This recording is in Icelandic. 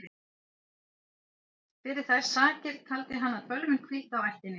Fyrir þær sakir taldi hann að bölvun hvíldi á ættinni.